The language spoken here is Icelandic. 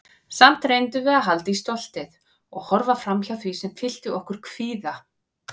Samt reyndum við að halda í stoltið- og horfa framhjá því sem fyllti okkur kvíða.